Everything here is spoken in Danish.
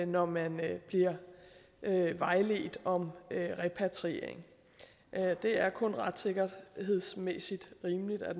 når man bliver vejledt om repatriering det er kun retssikkerhedsmæssigt rimeligt at